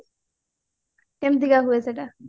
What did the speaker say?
କେମିତିକା ହୁଏ ସେଟା